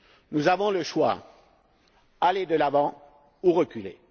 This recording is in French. Nous avons le choix aller de l'avant ou reculer.